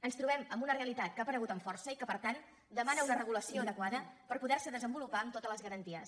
ens trobem amb una realitat que ha aparegut amb força i que per tant demana una regulació adequada per poder se desenvolupar amb totes les garanties